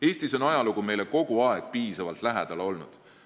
Eestis on ajalugu meile kogu aeg piisavalt lähedal olnud.